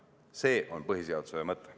See on põhiseaduse mõte.